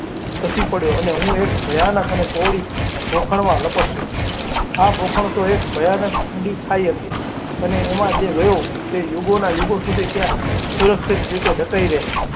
C પડ્યો અને હું એક ભયાનક અને પહોળી ખોભામાં લપસ્યો. આ બોમણે તો એક ભયાનક ઊંડી ખાઈ હતી. અને એમાં જે ગયો તે યુગોના યુગો સુધી ત્યાં સુરક્ષિત રીતે ટાઈ રહે.